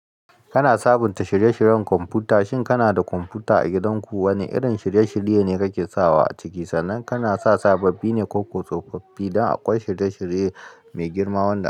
Kana sabunta shirye-shiryen kwamfuta. Shin kana da kwamfuta a gidanku? Wane irin shirye-shirye ne kake sawa a ciki? Sannan kana sa sababbi ne ko tsofaffi don a ƙwai shirye-shirye mai girma wanna.